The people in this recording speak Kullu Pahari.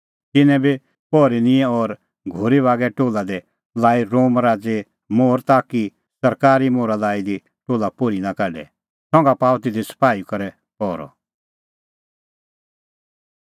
तिन्नैं बी पहरी निंयैं और घोरी बागै टोल्हा दी लाई रोम राज़ैए मोहर ताकि सरकारी मोहरा लाई दी टोल्हा पोर्ही नां काढे संघा पाअ तिधी सपाही करै पहरअ